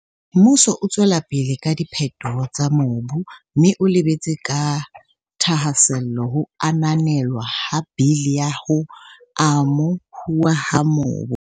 Mmuso o tswela pele ka diphetoho tsa mobu mme o lebeletse ka thahasello ho ananelwa ha Bili ya ho Amo huwa ha Mobu.